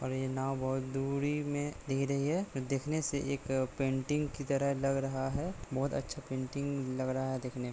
और ये नाव बहुत दूर में दिख रही है देखने से एक पेंटिंग की तरह लग रहा है बहुत अच्छा पेंटिंग लग रहा है देखने--